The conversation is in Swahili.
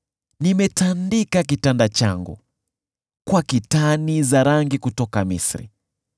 Nimetandika kitanda changu kwa kitani za rangi kutoka Misri.